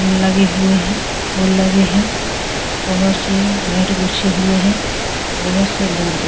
लगे हुए हैं फूल लगे हैं बहुत से मेट बीछे हुए हैं बहुत से लोग दे --